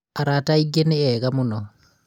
arata angĩ nĩ ega mũnoo